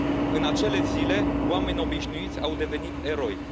În acele zile, oameni obișnuiți au devenit eroi.